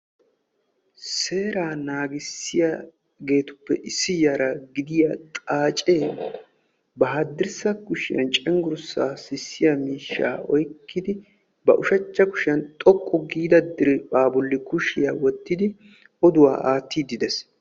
Seeraa naagissiyageetuppe issi yara gidiya xaacee ba hadddirssa kushiyan cenggurssaa sissiya miishshaa oyqqidi ba ushachcha kushiyan xoqqu giida diriphpha bolli kushiya wottidi oduwa aattiiddi de'ees.